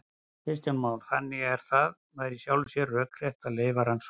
Kristján Már: Þannig að það væri í sjálfu sér rökrétt að leyfa rannsóknir?